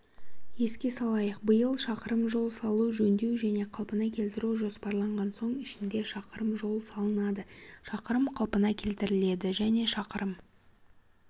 еске салайық биыл шақырым жол салу жөндеу және қалпына келтіру жоспарланған соның ішінде шақырым жол салынады шақырым қалпына келтіріледі және шақырым